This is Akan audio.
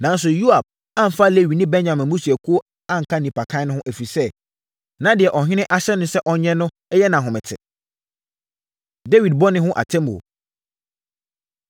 Nanso, Yoab amfa Lewi ne Benyamin mmusuakuo anka nnipakan no ho, ɛfiri sɛ, na deɛ ɔhene ahyɛ no sɛ ɔnyɛ no yɛ no ahomete. Dawid Bɔne Ho Atemmuo